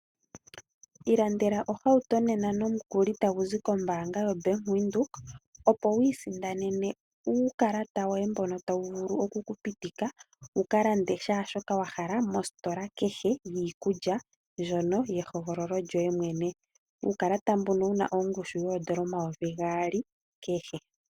Ilandela ohauto nena nomukuli tagu zi kombanga yoBank Windhoek opo wiisindanene uukalata woye mbono tawu vulu okukupitika wu kalande kehe shoka wa hala mositola kehe yiikulya ndjono yehogololo lyoye mwene. Uukalata mboka wuna ongushu yoondola omayovi gaali kehe.